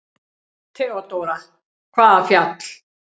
THEODÓRA: Hvaða fjall?